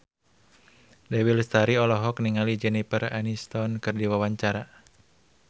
Dewi Lestari olohok ningali Jennifer Aniston keur diwawancara